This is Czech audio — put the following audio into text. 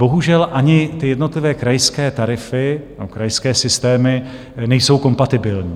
Bohužel, ani ty jednotlivé krajské tarify nebo krajské systémy nejsou kompatibilní.